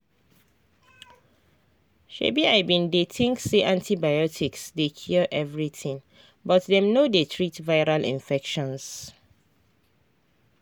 umi bin dey think say antibiotics dey cure everything but dem no dey treat viral infections